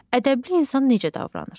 Ədəbli insan necə davranır?